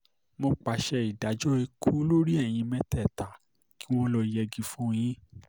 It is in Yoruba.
mo pàṣẹ ìdájọ́ ikú lórí ẹ̀yin mẹ́tẹ̀ẹ̀ta kí wọ́n lọ́ọ́ yẹgi fún yín